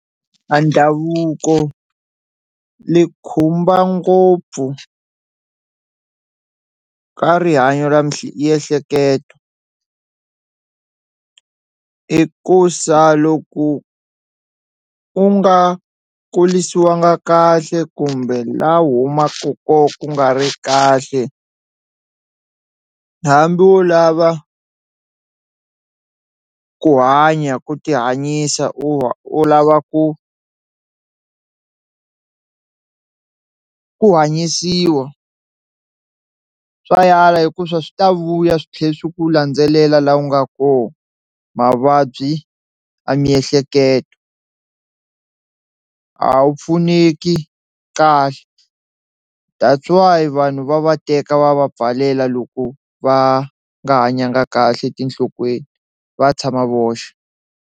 A ndhavuko ni khumba ngopfu ka rihanyo ra miehleketo i ku sa loko u nga kulisiwanga kahle kumbe la u humaku ko ku nga ri kahle hambi u lava ku hanya ku tihanyisa u lava ku ku hanyisiwa swa yala hikusa swi ta vuya swi tlhela swi ku landzelela laha u nga koho, mavabyi ya miehleketo a wu pfuneki kahle that's why vanhu va va teka va va pfalela loko va nga hanyanga kahle etinhlokweni va tshama voxe.